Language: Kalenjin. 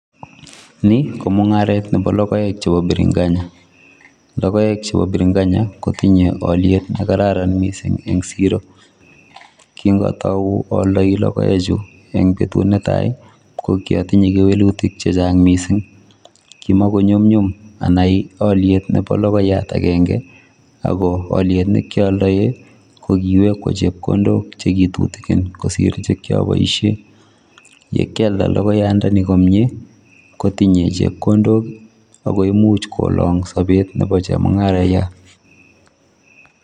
Nii ko mungaret nebo lokoek chebo birinkanya, lokoek chubo birinkanya kotinye oliet nekararan missing en Siro kin otou oldoi lokoek chuu en betut netai ko kiotinye kewelutik che Chang missing kimako nyumnyum anai oliet nebo lokoyat agenge ako oliet nekioldoi ko kiweku chepkondok chekitukin kosir chekiboishen, yekialda lokoyandoni komie kotinye chepkondok ako imuch kolong sobet nebo chemungarayat.